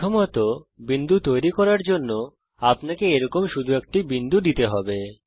প্রথমত বিন্দু তৈরী করার জন্য আপনাকে এরকম শুধু একটি বিন্দু দিতে হবে